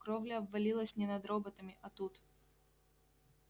кровля обвалилась не над роботами а тут